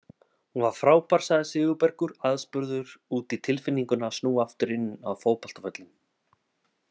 Hún var frábær sagði Sigurbergur aðspurður út í tilfinninguna að snúa aftur inn á fótboltavöllinn.